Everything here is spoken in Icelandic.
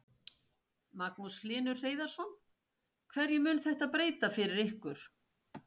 Magnús Hlynur Hreiðarsson: Hverju mun þetta breyta fyrir ykkur?